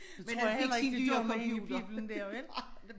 Men han fik sin nye computer